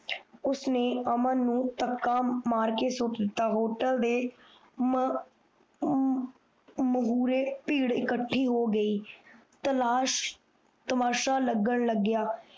ਉਸਨੇ ਅਮਨ ਨੂੰ ਮਤਕਾ ਮਾਰ ਕੇ ਸੁੱਟ ਦਿੱਤੋ ਹੋਟਲ ਦੇ ਮੁੜੇ ਪੀੜ੍ਹ ਇਕਠੀ ਹੋ ਗਯੀ ਤਮਾਸ਼ਾ ਲੱਗਣ ਲਗਿਆ